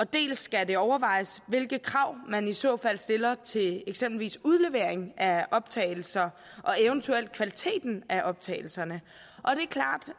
dels skal det overvejes hvilke krav man i så fald stiller til eksempelvis udlevering af optagelser og eventuelt kvaliteten af optagelserne